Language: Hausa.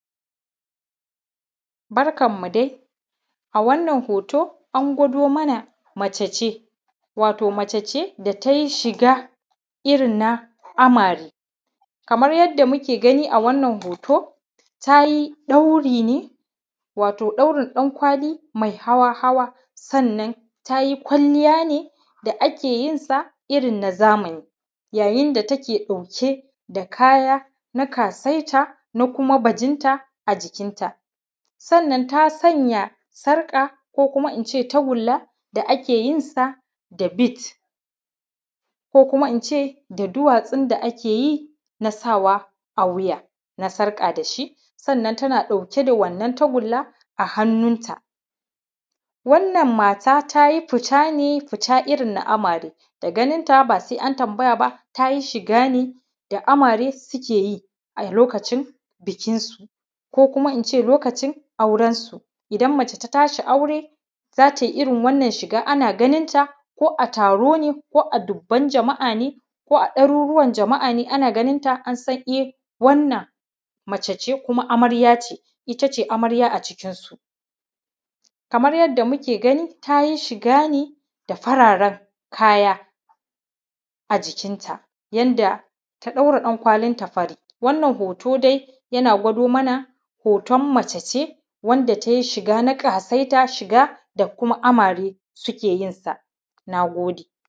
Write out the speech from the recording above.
.Barkan mu dai a wannan hoto an gwado mana mace ne wato mace ce da tayi shiga irin na amare kamar yadda muke gani a wannan hoto tayi ɗauri ne watau ɗaurin ɗankwali mai hawa hawa sannan tayi kwalliya ne da ake yin sa irin na zamani yayin da take ɗauke da kaya na ƙasaita na kuma bajinta a jikin ta sannan ta sanya sarƙa ko kuma ince tagunla da ake yin sa da “beads” ko kuma ince da duwatsun da ake yin a sawa a wuya na sarƙa da shi, sannan ta na ɗaauke da wannan tagunla a hannun ta wannan mata tayi fita ne irin fita na amare da ganin ta ba sai an tambaya ba ta yi shiga ne da amare suke yi a lokacin bikin su ko kuma ince lokacin auren su. Idan mace ta tashi aure za tayi irin wannan shiga ana ganin ta ko a taro ne ko a dubun jama`a ne ko a ɗaruruwan jama`a ne ana ganin ta an san wannan mace ce kuma amarya ce, itace amarya a cikin su, kamar yadda muke ganin ta tayi shiga ne da fararen kaya a jikin ta yanda ta ɗaura ɗankwalin ta fari wannan hoto dai yana gwada mana hoton mace ce wanda tayi shiga na ƙasaita shiga da kuma shiga wanda amare ke yin ta. na gode.